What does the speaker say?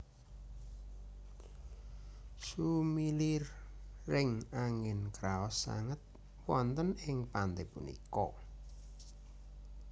Sumiliring angin kraos sanget wonten ing pante punika